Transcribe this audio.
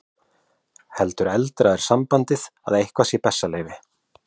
Heldur eldra er sambandið að eitthvað sé bessaleyfi.